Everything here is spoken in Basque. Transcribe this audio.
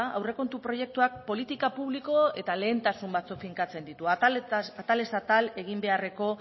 aurrekontu proiektuak politika publiko eta lehentasun batuk finkatzen ditu atalez atal egin beharreko